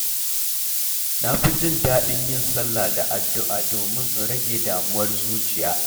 Na fi jin daɗin yin salla da addu’a domin in rage damuwar zuciyata.